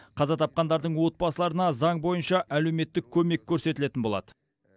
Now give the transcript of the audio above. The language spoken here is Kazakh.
қаза тапқандардың отбасыларына заң бойынша әлеуметтік көмек көрсетілетін болады